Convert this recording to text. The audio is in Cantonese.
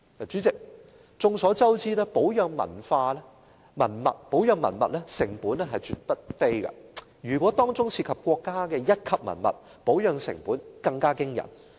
主席，眾所周知，保養文物成本絕對不菲，如果當中涉及國家一級文物，保養成本更驚人。